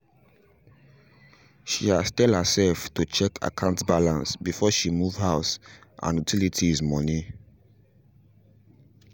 she has tell her self to check akant balance before she move house and utilities money